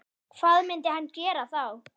Hvað myndi hann gera þá?